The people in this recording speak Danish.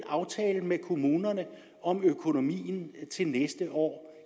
aftale med kommunerne om økonomien til næste år